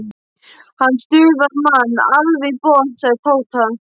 Hann stuðar mann alveg í botn sagði Tóti.